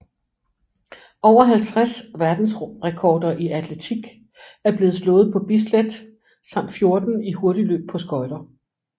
Over 50 verdensrekorder i atletik er blevet slået på Bislett samt 14 i hurtigløb på skøjter